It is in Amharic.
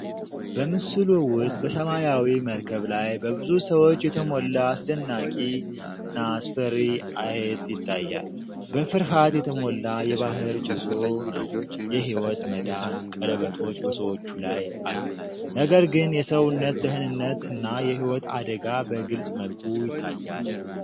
በምስሉ ውስጥ በሰማያዊ መርከብ ላይ በብዙ ሰዎች የተሞላ አስደናቂ እና አስፈሪ አየት ይታያል። በፍርሃት የተሞላ የባህር ጉዞ ነው::የህይወት መዳን ቀለበቶች በሰዎቹ ላይ አሉ፣ ነገር ግን የሰውነት ደህንነት እና የህይወት አደጋ በግልጽ መልኩ ይታያል።